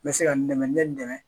N bɛ se ka n dɛmɛ ni n dɛmɛ